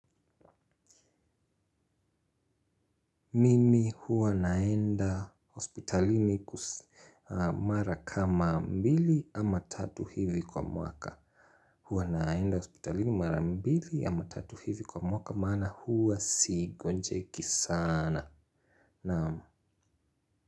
Mimi huwa naenda ospitalini kumara kama mbili ama tatu hivi kwa mwaka. Huwa naenda ospitalini mara mbili ama tatu hivi kwa mwaka maana huwa sigonjeki sana. Naamu.